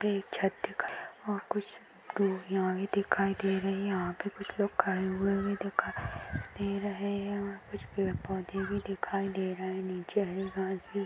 भी एक छत दिखाई दे रही और कुछ दोरिया दिखाई दे रही है यहा पे कुछ लोग खड़े हुए वी दिखाई दे रहे है उयर कुछ पेड पौधे वी दिखाई दे रहे है नीचे हरी घाँस भी --